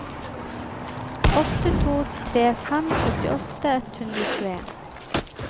åtte to tre fem syttiåtte ett hundre og tjueen